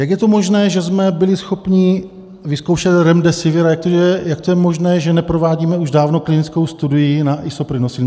Jak je to možné, že jsme byli schopni vyzkoušet Remdesivir a jak to je možné, že neprovádíme už dávno klinickou studii na Isoprinosine?